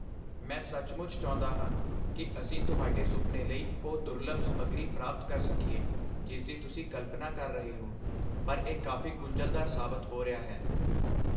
ਮੈਂ ਸੱਚਮੁੱਚ ਚਾਹੁੰਦਾ ਹਾਂ ਕਿ ਅਸੀਂ ਤੁਹਾਡੇ ਸੁਪਨੇ ਲਈ ਉਹ ਦੁਰਲੱਭ ਸਮੱਗਰੀ ਪ੍ਰਾਪਤ ਕਰ ਸਕੀਏ ਜਿਸਦੀ ਤੁਸੀਂ ਕਲਪਨਾ ਕਰ ਰਹੇ ਹੋ, ਪਰ ਇਹ ਕਾਫ਼ੀ ਗੁੰਝਲਦਾਰ ਸਾਬਤ ਹੋ ਰਿਹਾ ਹੈ।